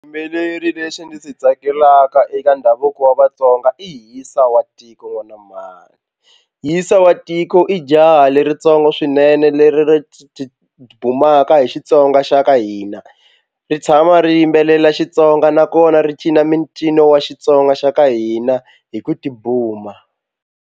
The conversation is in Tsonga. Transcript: Xiyimbeleri lexi ndzi swi tsakelaka eka ndhavuko wa Vatsonga i Hisa wa tiko n'wana mhani. Hisa wa tiko i jaha leritsongo swinene leri ri ti tibumaka hi Xitsonga xa ka hina ri tshama ri yimbelela Xitsonga nakona ri cina mincino wa Xitsonga xa ka hina hi ku tibuma.